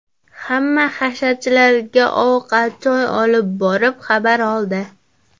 Hamma hasharchilarga ovqat-choy olib borib xabar oldi.